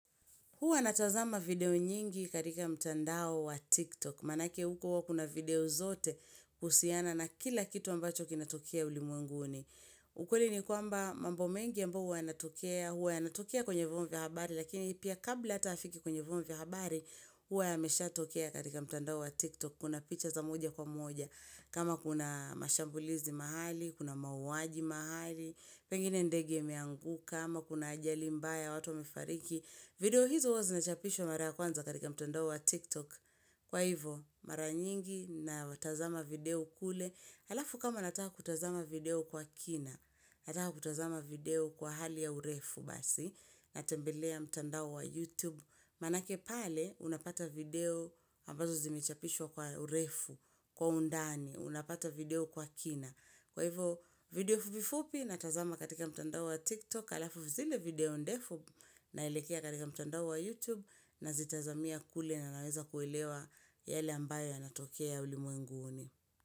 Huwa natazama video nyingi karika mtandao wa TikTok. Manake huko wa kuna video zote kusiana na kila kitu ambacho kinatokia ulimenguni. Ukweli ni kwamba mambo mengi ambao huwa yanatokia, huwa yanatokea kwenye vongi habari, lakini pia kabla hata hafiki kwenye vongi habari, huwa yamesha tokea karika mtandao wa TikTok. Kuna picha za moja kwa moja. Kama kuna mashambulizi mahali, kuna mawaji mahali, pengine ndege miangu, kama kuna ajali mbaya watu wamefariki. Video hizo wazinachapishwa mara kwanza katika mtandao wa tiktok Kwa hivo mara nyingi na watazama video kule Alafu kama nataka kutazama video kwa kina Nataka kutazama video kwa hali ya urefu basi Natembelea mtandao wa youtube Manake pale unapata video ambazo zimechapishwa kwa urefu Kwa undani unapata video kwa kina Kwa hivo video fupifupi natazama katika mtandao wa tiktok halafu zile video ndefu nailekea katika mtandao wa youtube na zitazamia kule na naweza kuwelewa yale ambayo yanatokea ya ulimu nguuni.